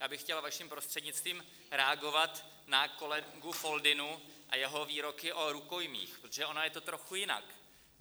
Já bych chtěl vaším prostřednictvím reagovat na kolegu Foldynu a jeho výroky o rukojmích, protože ono je to trochu jinak.